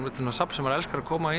safn sem maður elskar að koma í